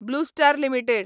blue Star limited